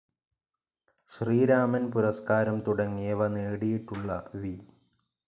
ശ്രീരാമൻ പുരസ്കാരം തുടങ്ങിയവ നേടിയിട്ടുള്ള വി.